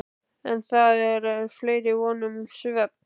En þá er meiri von um svefn.